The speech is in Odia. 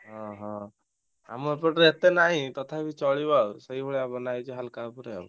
ହଁ ହଁ। ଆମ ଏପଟରେ ଏତେ ନାଇଁ ତଥାପି ଚଳିବ ଆଉ ସେଇଭଳିଆ ବନାହେଇଛି ହାଲକା ଆଉ।